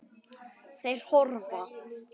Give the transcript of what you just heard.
Þeir hörfa.